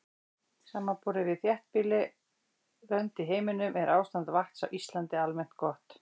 Samanborið við þéttbýlli lönd í heiminum er ástand vatns á Íslandi almennt gott.